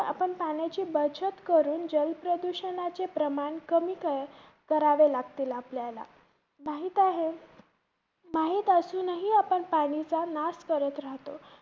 आपण पाण्याची बचत करून जलप्रदूषणाचे प्रमाण कमी करावे लागतील आपल्याला. माहीत आहे~ माहित असूनही आपण पाणीचा नाश करत राहतो.